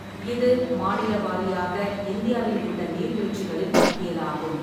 இது மாநில வாரியாக இந்தியாவில் உள்ள நீர்வீழ்ச்சிகளின் பட்டியலாகும்.